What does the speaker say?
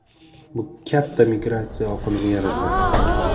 Bu katta migratsiya oqimini yaratadi.